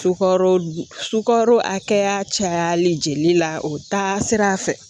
Sukaro sukaro hakɛya cayalen jeli la o bɛ taa sira fɛ